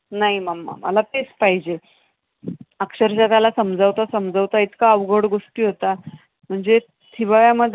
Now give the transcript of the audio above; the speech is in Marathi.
नाही momma मला तेच पाहिजे. अक्षरशः त्याला समजवता समजवता इतका अवघड गोष्टी होतात. म्हणजे हिवाळ्यामध्ये.